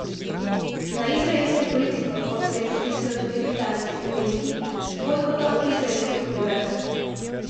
Na izraelsko politiko pa odslej pritiskajo tudi britanski akademiki z bojkotom izraelskih univerz.